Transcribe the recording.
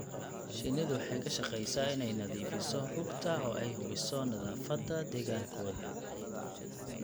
Shinnidu waxay ka shaqeysaa inay nadiifiso rugta oo ay hubiso nadaafadda deegaankooda.